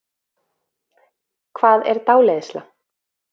Hvað er dáleiðsla?